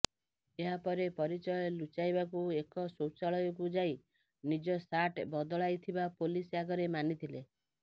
ଏହାପରେ ପରିଚୟ ଲୁଚାଇବାକୁ ଏକ ଶୌଚାଳୟକୁ ଯାଇ ନିଜ ସାର୍ଟ ବଦଳାଇଥିବା ପୋଲିସ ଆଗରେ ମାନିଥିଲେ